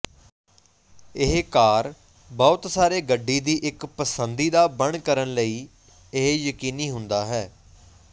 ਇਹ ਕਾਰ ਬਹੁਤ ਸਾਰੇ ਗੱਡੀ ਦੀ ਇੱਕ ਪਸੰਦੀਦਾ ਬਣ ਕਰਨ ਲਈ ਇਹ ਯਕੀਨੀ ਹੁੰਦਾ ਹੈ